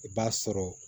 I b'a sɔrɔ